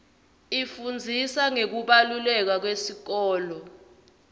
ifundzisa ngekubaluleka kwesikolo